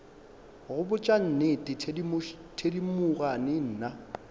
go botša nnete thedimogane nna